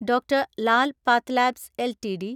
doctor Lal PathLabs LTD